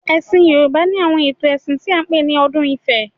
Ẹ̀sìn Yorùbá ni àwọn ètò ẹ̀sìn tí a ń pè ní odù ifá.